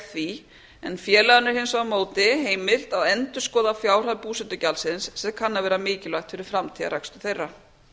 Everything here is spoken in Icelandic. því en félaginu er hins vegar á móti heimilt að endurskoða fjárhæð búsetugjaldsins sem kann að vera mikilvægt fyrir framtíðarrekstur þeirra